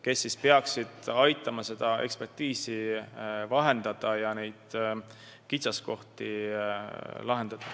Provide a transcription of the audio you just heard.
Need inimesed peaksid aitama seda ekspertiisi vahendada ja kitsaskohti lahendada.